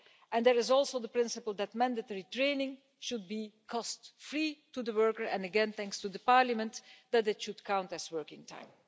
And there is also the principle that mandatory training should be cost-free to the worker and, again thanks to Parliament, that it should count as working time.